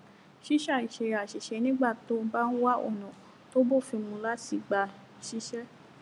ṣíṣàì ṣe àṣìṣe nígbà tó o bá ń wá àwọn ònà tó bófin mu láti gbà ṣiṣé